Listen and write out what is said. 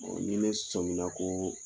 Ɔ ni ne sɔmina ko